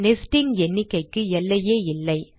nesting எண்ணிக்கைக்கு எல்லையே இல்லை